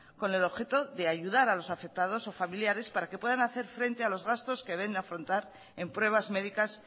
con el objeto de ayudar a los afectados o familiares para que puedan hacer frente a los gastos que deben afrontar en pruebas médicas